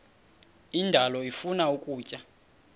indalo ifuna ukutya